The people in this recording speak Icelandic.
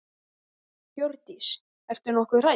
Hjördís: Ertu nokkuð hrædd?